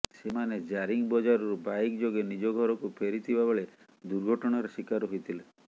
ସେମାନେ ଜାରିଂ ବଜାରରୁ ବାଇକ ଯୋଗେ ନିଜ ଘରକୁ ଫେରିଥିବା ବେଳେ ଦୁର୍ଘଟଣାର ଶିକାର ହୋଇଥିଲେ